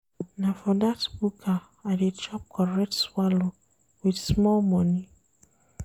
Na for dat buka I dey chop correct swallow wit small moni.